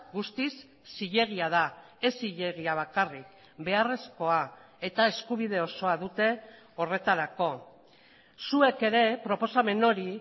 guztiz zilegia da ez zilegia bakarrik beharrezkoa eta eskubide osoa dute horretarako zuek ere proposamen hori